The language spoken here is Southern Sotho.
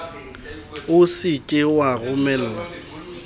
o se ke wa romella